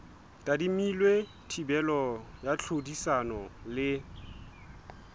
tadimilwe thibelo ya tlhodisano le